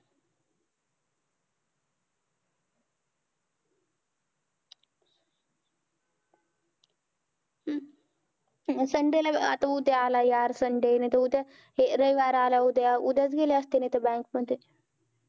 हम्म sunday ला आता उद्या आलं यार sunday नाहीतर उद्या च रविवार आलं उद्या उद्या गेले असते, नाहीतर bank मध्ये